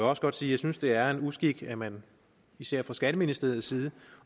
også godt sige jeg synes det er en uskik at man især fra skatteministeriets side